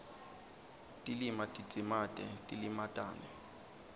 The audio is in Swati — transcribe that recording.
tilima tidzimate tilimatane